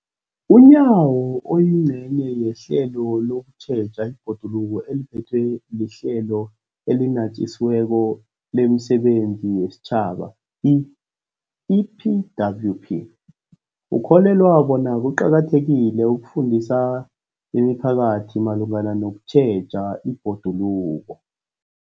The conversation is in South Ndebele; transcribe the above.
UNyawo, oyingcenye yehlelo lokutjheja ibhoduluko eliphethwe liHlelo eliNatjisi weko lemiSebenzi yesiTjhaba, i-EPWP, ukholelwa bona kuqakathekile ukufundisa imiphakathi malungana nokutjheja ibhoduluko.